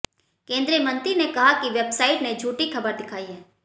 केंद्रीय मंत्री ने कहा कि वेबसाइट ने झूठी खबर दिखाई है